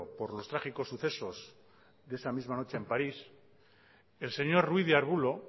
por los trágicos sucesos de esa misma noche en parís el señor ruiz de arbulo